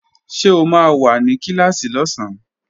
Ṣé o máa wà ní Kíláàsì lọ́sán?